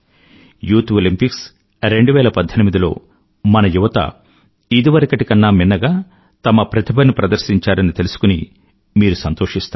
youth Olympics 2018 లో మన యువత ఇదివరకటి కన్నా మిన్నగా తమ ప్రతిభను ప్రదర్శించారని తెలుసుకుని మీరు సంతోషిస్తారు